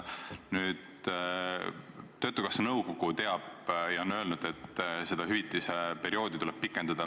Töötukassa nõukogu teab ja on öelnud, et seda hüvitise perioodi tuleb pikendada.